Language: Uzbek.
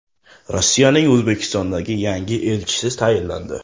Rossiyaning O‘zbekistondagi yangi elchisi tayinlandi.